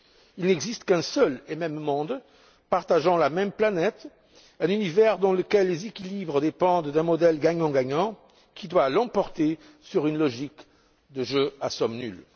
Il n'existe qu'un seul et même monde partageant la même planète, un univers dans lequel les équilibres dépendent d'un modèle gagnant gagnant qui doit l'emporter sur une logique de jeu à somme nulle.